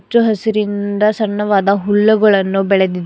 ಹಚ್ಚ ಹಸಿರಿಂದ ಸಣ್ಣವಾದ ಹುಲ್ಲುಗಳನ್ನು ಬೆಳೆದಿದೆ.